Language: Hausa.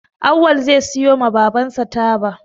Awwal zai siyo ma baban sa taba